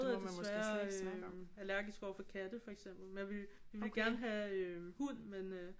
Er desværre allergisk overfor katte for eksempel men vi vil gerne have hund men